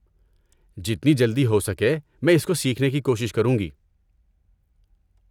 جتنی جلدی ہو سکے میں اس کو سیکھنے کی کوشش کروں گی۔